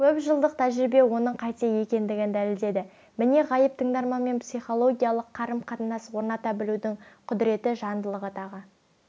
көпжылдық тәжірибе оның қате екендігін дәлелдеді міне ғайып тыңдарманмен психологиялық қарым-қатынас орната білудің құдіреті жандылығы тағы